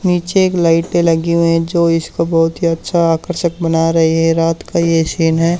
नीचे एक लाइटें लगी हुई है जो इसको बहोत ही अच्छा आकर्षक बना रही है रात का ये सीन है।